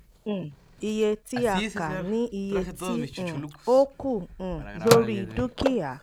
um iye tí a kà ní iye tí um ó kù um lórí dúkìá